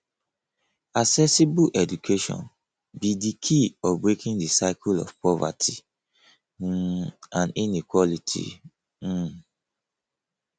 accessible education be di key of breaking di cycle of poverty um and inequality um